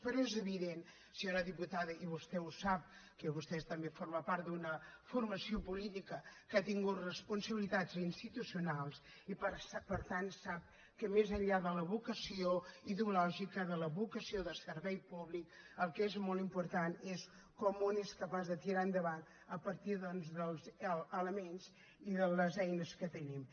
però és evident senyora diputada i vostè ho sap que vostè també forma part d’una formació política que ha tingut responsabilitats institucionals i per tant sap que més enllà de la vocació ideològica de la vocació de servei públic el que és molt important és com un és capaç de tirar endavant a partir doncs dels elements i de les eines que tenim